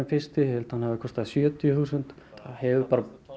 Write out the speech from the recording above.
fyrsti ég held að hann hafi kostað sjötíu þúsund þetta hefur